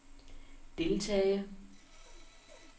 deltage